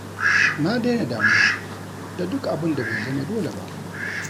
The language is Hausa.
Na dai na damuwa da duk abun da bai zama dole ba